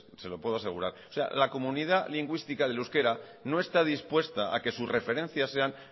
se lo puedo asegurar o sea la comunidad lingüística del euskera no está dispuesta a que sus referencias sean